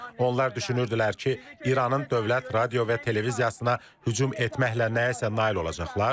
Onlar düşünürdülər ki, İranın dövlət radio və televiziyasına hücum etməklə nəyəsə nail olacaqlar.